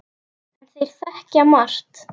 En þeir þekkja margt.